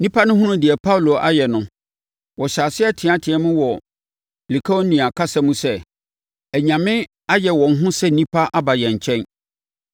Nnipa no hunuu deɛ Paulo ayɛ no, wɔhyɛɛ aseɛ teateaam wɔ Likaonia kasa mu sɛ, “Anyame ayeyɛ wɔn ho sɛ nnipa aba yɛn nkyɛn.”